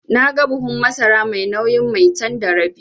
Naga buhun masara mai nauyin Maitan da rabi.